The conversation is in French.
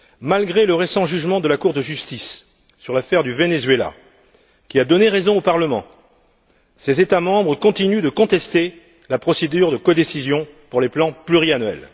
Malgré le récent arrêt de la Cour de justice dans l'affaire du Venezuela, qui a donné raison au Parlement, ces États membres continuent de contester la procédure de codécision pour les plans pluriannuels.